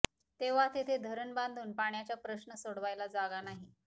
तेव्हा तिथे धरण बांधुन पाण्याच्या प्रश्न सोडवायला जागा नाही